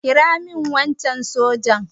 kira min wancan sojan!